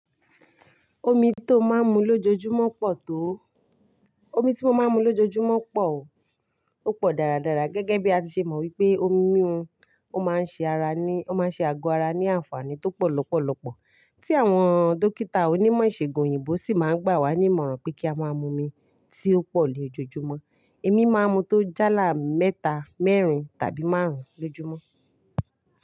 Omi tí ó máa ń mu lójoojúmọ́ pọ̀ tó. Omi tí mo máa ń mu lójoojúmọ́ pọ̀ o. Ó pọ̀ dáradára gẹ́gẹ́ bí a ṣe mọ wípé omi mímu ó máa ń ṣe ara ní, ó máa ń ṣe àgọ́ ara ní àǹfààní tó pọ̀ lọ́pọ̀lọpọ̀. Tí àwọn dókítà onímọ̀ ìṣègùn òyìnbó sì máa ń gbà wá ní ìmọ̀ràn pé kí a máa mu omi tí ó pọ̀ lójoojúmọ́. Èmi máa ń mu tó jálá mẹ́ta, mẹ́rin tàbí márùn-ún lójúmọ́.